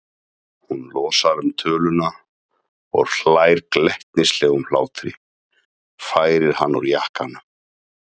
Hún losar um töluna og hlær glettnislegum hlátri, færir hann úr jakkanum.